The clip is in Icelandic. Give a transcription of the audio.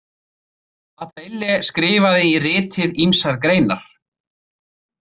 Bataille skrifaði í ritið ýmsar greinar.